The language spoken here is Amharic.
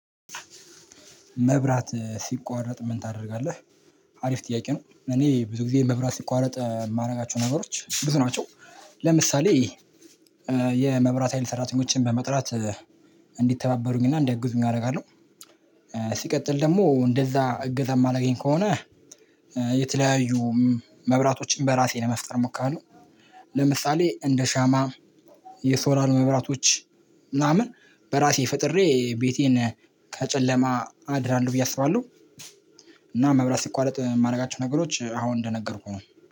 መብራት ሲቋረጥ ምን ታደርጋለህ? አሪፍ ጥያቄ ነው እኔ ብዙ ጊዜ መብራት ሲቋረጥ የማደርጋቸው ነገሮች ብዙ ናቸው። ለምሳሌ የመብራት ሀይል ሰራተኞችን በመጥራት እንዲተባበሩኝና እንዲያግዙኝ አደርጋለሁ። ሲቀጥል ደግሞ እንደዛ እገዛ የማላገኝ ከሆነ የተለያዩ መብራቶችን በራሴ ለመፍጠር ሞክራለሁ። ለምሳሌ እንደ ሻማ የሶላር መብራቶች ምናምን በራሴ ፈጥሬ ቤቴን ከጨለማ አድናለሁ ብዬ አስባለሁ። እና መብራት ሲቋረጥ የማደርጋቸው ነገሮች አሁን እንደነገርኩህ ነው